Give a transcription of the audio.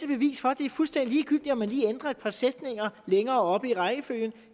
bevis for at det er fuldstændig ligegyldigt om man lige ændrer et par sætninger længere oppe i rækkefølgen